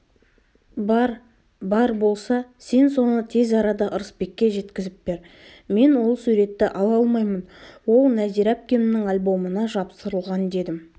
бар бар болса сен соны тез арада ырысбекке жеткізіп бер мен ол суретті ала алмаймын ол нәзира әпкемнің альбомына жапсырылған дедім